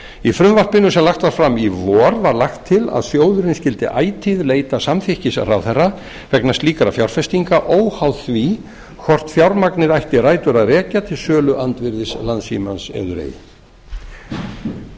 í frumvarpinu sem lagt var fram í vor var lagt til að sjóðurinn skyldi ætíð leita samþykkis ráðherra vegna slíkra fjárfestinga óháð því hvort fjármagnið ætti rætur að rekja til söluandvirðis landssímans eður ei